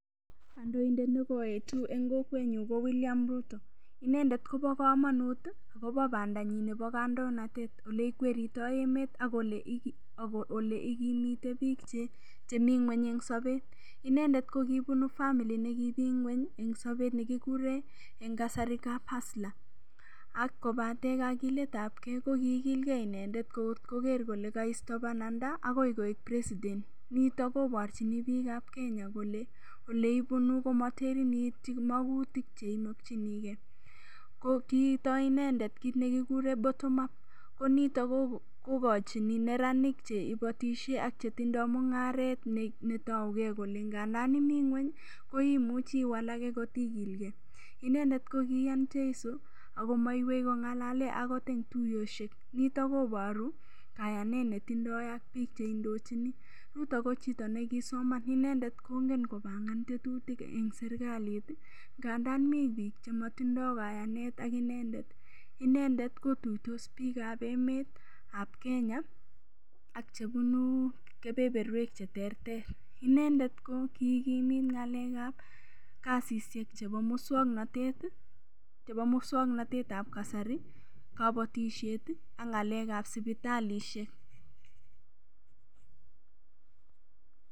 Kondoindet negaetu en Kokwenyun ko William Ruto enedet Koba kamanut kabo Bandai ab tai Nebo kandoinatet oleikweritoi emet ak oleikimite bik chemi ngweny en Sabet inendet kokibunu family nekimi ngweny en Sabet nekikuren en kasari huslerakobatenbkakilet ab gei kokilgei inendet agoger Kole kaisto bananda akoik Koi president niton kebarchin bik ab Kenya Kole oleibunu komateben Chito makutik cheimuche ko kiitoibinendet kit nekikuren bottom up koniton kogachinen neranik cheibatishe achetindo mungaret netau gei Kole tandan mi ngweny koimuche iwalake kot igilgei inendet kokiya cheisi akomaiwei kongalale okot en tuiyoshe ako niton kobarwech kayainet netindoi ak bik chendochin niton ko kisomo ako inendet kongen kobangan ngetutik en serikalit gandan mi bik chematidoikayanet ak inendet inendet koyuitos bik ab emet ab Kenya ak chebunu kebeberwek alak cheterter inendet ko kikimin ngalek ab kasishek chebo muswaknatet ab kasari kabatishet ag sibitalishek